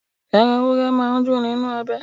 Ẹran ewúrẹ́ máa n nínú obẹ̀